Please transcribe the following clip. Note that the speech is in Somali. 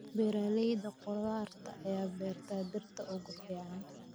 Beeralayda khudaarta ayaa beera dhirta ugu fiican.